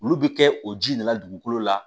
Olu bɛ kɛ o ji de la dugukolo la